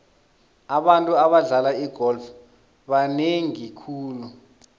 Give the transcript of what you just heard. abantu abadlala igolf banengi khulu